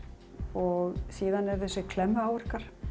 og síðan eru það þessir klemmu áverkar